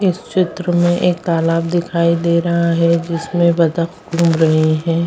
इस चित्र में एक तालाब दिखाई दे रहा है जिसमें बत्तख घूम रहे है।